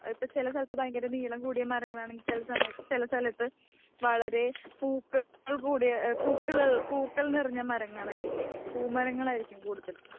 ചില സ്ഥലത്തു വളരെ നീളം കൂടിയ മരങ്ങളാണെകിൽ ചില സമയത്തു ചില സ്ഥലത്തു വളരെ പൂക്കൾ കൂടിയ പൂക്കൾ നിറഞ്ഞ മരങ്ങളായിരിക്കും. പൂമരങ്ങളായിരിക്കും കൂടുതൽ.